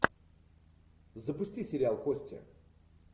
запусти сериал кости